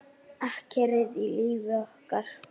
Akkerið í lífi okkar.